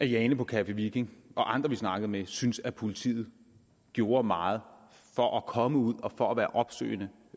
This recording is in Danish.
jane på café viking og andre vi snakkede med syntes at politiet gjorde meget for at komme ud og for at være opsøgende